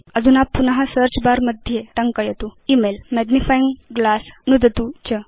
अधुना पुन search bar मध्ये टङ्कयतु इमेल मैग्निफाइंग ग्लास नुदतु च